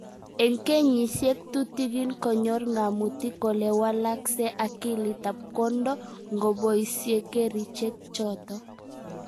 Eng kenyisyek tutigiin konyor ng'amutik kole walakse akilit ab kwondo ngoboisye kerichek chotok